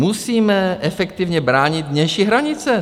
"Musíme efektivně bránit vnější hranice."